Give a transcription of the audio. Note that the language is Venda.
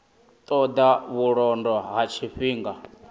ṱo ḓa vhulondo ha tshifhinga